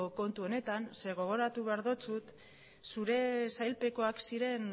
kontu honetan zeren gogoratu behar dizut zure sailpekoak ziren